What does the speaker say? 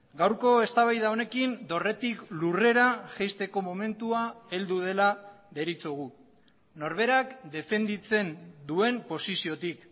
gaurko eztabaida honekin dorretik lurrera jaisteko momentua heldu dela deritzogu norberak defenditzen duen posiziotik